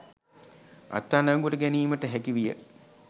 අත්අඩංගුවට ගැනීමට හැකි විය